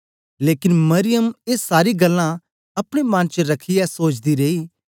लेकन मरियम ए सारी गल्लां अपने मन च रखियै सोचदी रेई